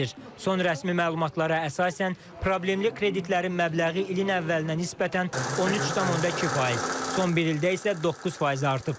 Son rəsmi məlumatlara əsasən problemli kreditlərin məbləği ilin əvvəlinə nisbətən 13,2%, son bir ildə isə 9% artıb.